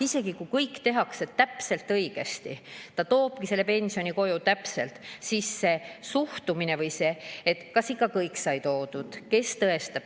Isegi kui kõik tehakse täpselt õigesti, ta toob kogu pensioni koju kohale, siis on suhtumine, et kas ikka kõik sai toodud ja kes seda tõestab.